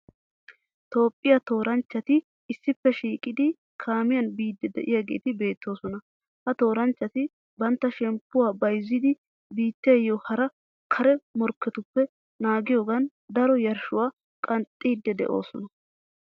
Toophphiya tooranchchati issippe shiiqidi kaamiyan biiddi de'iyageeti beettoosona. Ha Tooranchchati bantta shemppuwa bayzzidi biittiyo hara kare morikketuppe naagiyogan daro yarshshuwa qanxxiidi de'oosona